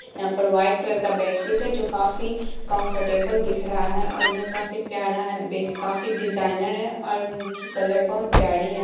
यहाँ पर white colour का बेडशीट है जो काफी कम्फ़र्टेबल दिख रहा है और यह काफी प्यरा है बेड काफी डिज़ाइनर है और उनकी कलर बोहत बहुत प्यारी है।